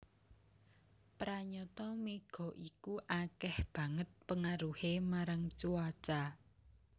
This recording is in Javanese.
Pranyata mega iku akéh banget pengaruhé marang cuaca